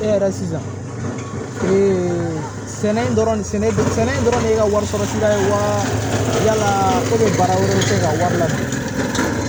E yɛrɛ sisan sɛnɛ in dɔrɔn sɛnɛ in dɔrɔn de ka wari sɔrɔ wa ko baara wɛrɛ tɛ se ka wari la